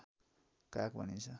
काक भनिन्छ